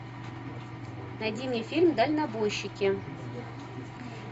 найди мне фильм дальнобойщики